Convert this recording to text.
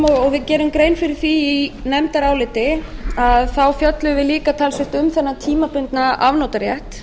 við gerum grein fyrir því í nefndaráliti að þá fjölluðum við líka talsvert um þennan tímabundna afnotarétt